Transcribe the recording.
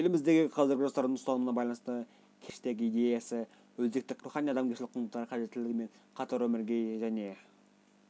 еліміздегі қазіргі жастардың ұстанымына байланысты келешектегі идеясы өзекті қағидалары рухани-адамгершілік құндылықтар қажеттілігі мен қатар өмірге және